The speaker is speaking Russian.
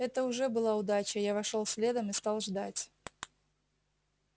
это уже была удача я вошёл следом и стал ждать